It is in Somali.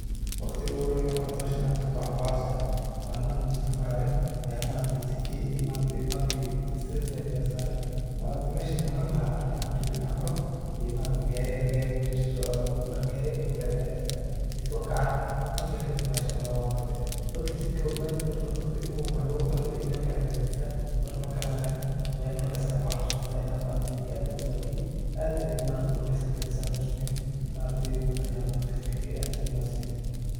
Waqdika ugu horayi ee hooshan maargtahay hooshan qaabtoh waxan ku xasustah, Malin ano jeedka marayo Aya maaragtay jeedka maaragtay bahalka straight lain Aya saaray maargtay meshi lamarlahay an rabay Ina maaroh, ee maaragtay Gaarika mesha sosocdoh gaari Aya igu dacay accident jeedka wan kacararay, marka kadib bahashan bartay marka jeedka meel dadka ini maaroh, lagu talaagalay iyo meelkali kalajeeran, marka makala aqaanin wallahi markasi Aya ku xasustahina maargtahay jeedka aad u bahalkeeyo aad maaragtay u wanagsantahay Ina san losameeyoh maargtahay wadanga dadaka shesheya aad Aya u mahatsanyahin.